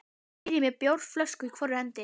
spyr ég með bjórflösku í hvorri hendi.